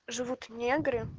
живут негры